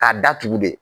K'a datugu de